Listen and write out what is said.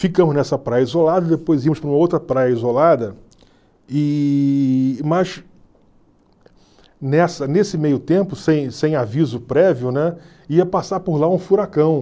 Ficamos nessa praia isolada, depois íamos para uma outra praia isolada, e, mas nessa nesse meio tempo, sem sem aviso prévio, né, ia passar por lá um furacão.